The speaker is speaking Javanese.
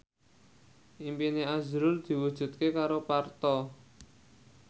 impine azrul diwujudke karo Parto